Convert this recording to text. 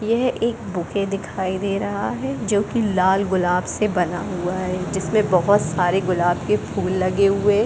यह एक बुके दिखाई दे रहा है जो कि लाल गुलाब से बना हुआ है जिसमे बहुत सारे गुलाब के फूल लगे हुए --